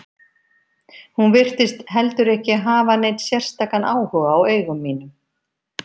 Hún virtist heldur ekki hafa neinn sérstakan áhuga á eigum mínum.